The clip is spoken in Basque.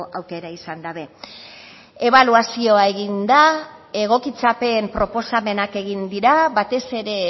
aukera izan dabe ebaluazioa egin da egokitzapen proposamenak egin dira batez ere